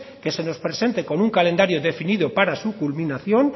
que se nos presente con un calendario definido para su culminación